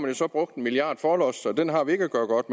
jo så brugt en milliard kroner forlods så den har vi ikke at gøre godt